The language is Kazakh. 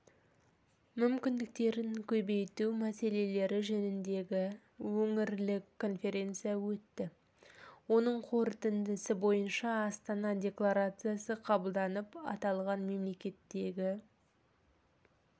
мүмкіндіктерін кеңейту мәселелері жөніндегі өңірлік конференция өтті оның қорытындысы бойынша астана декларациясы қабылданып аталған мемлекеттегі